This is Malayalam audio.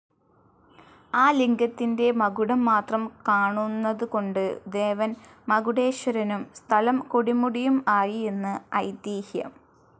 ആ ലിംഗത്തിന്റെ മകുടം മാത്രം കാണൂന്നതുകൊണ്ട് ദേവൻ മകുടേശ്വരനും സ്ഥലം കൊടുമുടിയും ആയി എന്ന് ഐതിഹ്യം.